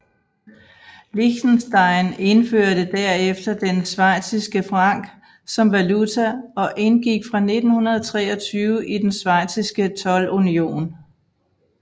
Liechtenstein indførte derefter den schweiziske franc som valuta og indgik fra 1923 i den schweiziske toldunion